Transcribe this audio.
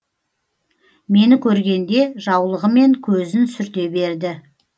мені көргенде жаулығымен көзін сүрте берді